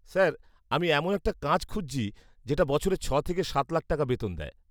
Sir, আমি এমন একটা কাজ খুঁজছি যেটা বছরে ছ' থেকে সাত লাখ টাকা বেতন দেয়।